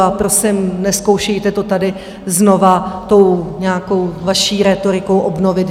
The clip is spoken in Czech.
A prosím, nezkoušejte to tady znovu tou nějakou vaší rétorikou obnovit.